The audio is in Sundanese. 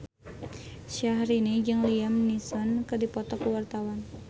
Syahrini jeung Liam Neeson keur dipoto ku wartawan